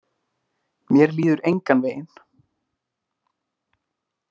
Mér líður engan veginn.